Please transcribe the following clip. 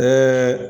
Ɛɛ